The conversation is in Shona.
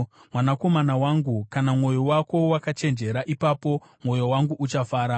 Mwanakomana wangu, kana mwoyo wako wakachenjera, ipapo mwoyo wangu uchafara;